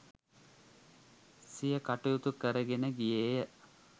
සිය කටයුතු කරගෙන ගියේය